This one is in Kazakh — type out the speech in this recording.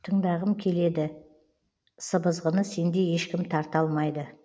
тыңдағым келеді сыбызғыны сендей ешкім тарта алмайды